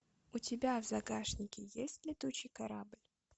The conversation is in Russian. у тебя в загашнике есть летучий корабль